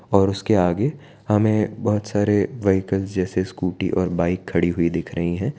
और उसके आगे हमें बहुत सारे व्हीकल्स जैसे स्कूटी और बाइक खड़ी हुई दिख रही है।